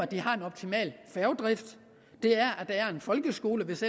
de har en optimal færgedrift at der er en folkeskole hvis